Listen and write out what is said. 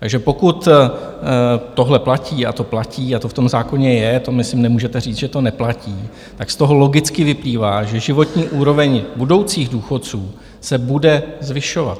Takže pokud tohle platí - a to platí a to v tom zákoně je, to, myslím, nemůžete říct, že to neplatí, tak z toho logicky vyplývá, že životní úroveň budoucích důchodců se bude zvyšovat.